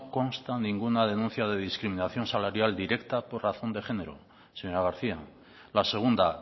consta ninguna denuncia de discriminación salarial directa por razón de género señora garcía la segunda